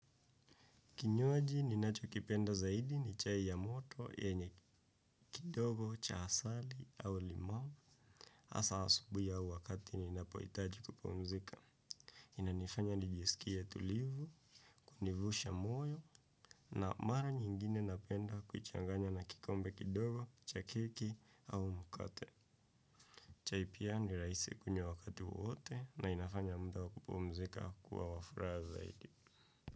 Kinywaji, ninachokipenda zaidi ni chai ya moto, yenye kidogo, cha asali, au limau. Hasa asubuhi au wakati ninapohitaji kupumzika. Inanifanya nijisikie tulivu, kunivusha moyo, na mara nyingine napenda kuichanganya na kikombe kidogo, cha keki, au mkate. Chai pia ni rahisi kunywa wakati wowote na inafanya muda wa kupumzika kuwa wa furaha zaidi.